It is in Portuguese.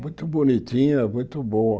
Muito bonitinha, muito boa.